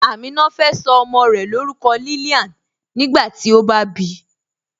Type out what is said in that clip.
Amina fẹ́ so ọmọ́ rẹ̀ lórúkọ̀ Lillian nígbàtí ó bá bí